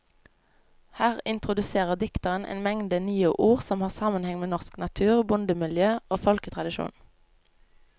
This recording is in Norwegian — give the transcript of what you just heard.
Her introduserer dikteren en mengde nye ord som har sammenheng med norsk natur, bondemiljø og folketradisjon.